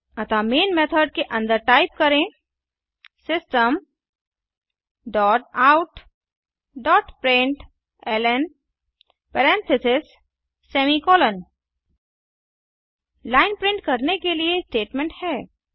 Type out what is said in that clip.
अतः main method के अंदर टाइप करें system dot out dot println parentheses semi colon line print करने के लिए स्टेटमेंट है